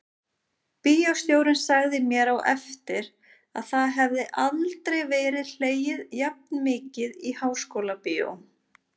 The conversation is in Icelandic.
Bíóstjórinn sagði mér á eftir að það hefði aldrei verið hlegið jafn mikið í Háskólabíói.